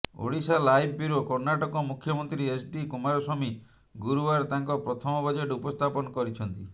Odisha live bureau Karnataka ମୁଖ୍ୟମନ୍ତ୍ରୀ HD Kumaraswamy ଗୁରୁବାର ତାଙ୍କ ପ୍ରଥମ ବଜେଟ ଉପସ୍ଥାପନ କରିଛନ୍ତି